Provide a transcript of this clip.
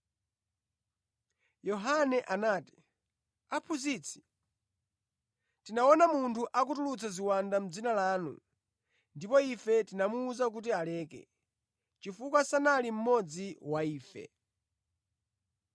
Yohane anati, “Aphunzitsi, tinaona munthu akutulutsa ziwanda mʼdzina lanu ndipo ife tinamuwuza kuti aleke, chifukwa sanali mmodzi wa ife.”